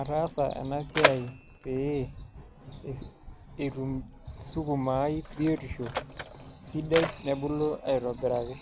ataasa ena siai pee etum sukuma ai biotisho sidai nebulu aitobiraki.